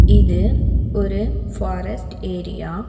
இது ஒரு forest area .